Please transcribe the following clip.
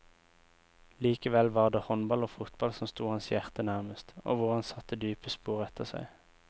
Likevel var det håndball og fotball som sto hans hjerte nærmest, og hvor han satte dype spor etter seg.